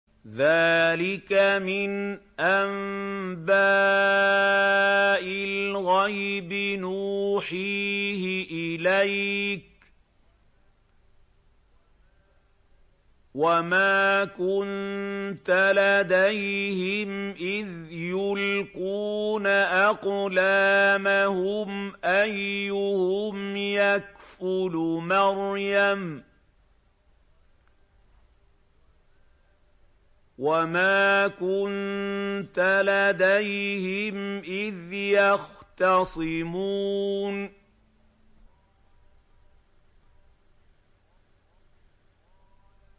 ذَٰلِكَ مِنْ أَنبَاءِ الْغَيْبِ نُوحِيهِ إِلَيْكَ ۚ وَمَا كُنتَ لَدَيْهِمْ إِذْ يُلْقُونَ أَقْلَامَهُمْ أَيُّهُمْ يَكْفُلُ مَرْيَمَ وَمَا كُنتَ لَدَيْهِمْ إِذْ يَخْتَصِمُونَ